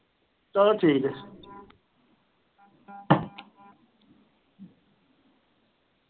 ਚਲੋ ਠੀਕ ਆ।